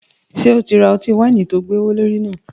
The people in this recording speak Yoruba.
Ṣe o ra ọti-waini tó gbowolori náà?